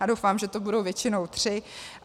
A doufám, že to budou většinou tři.